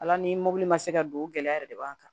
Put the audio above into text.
Ala ni mɔbili ma se ka don gɛlɛya yɛrɛ de b'an kan